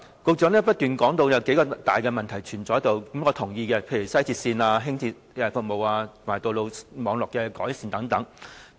局長不斷提到有數個大問題存在，我是同意的，例如西鐵線和輕鐵服務及道路網絡的改善等。